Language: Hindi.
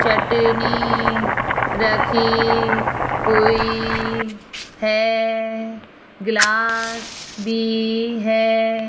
चटनी रखी हुई है ग्लास भी है।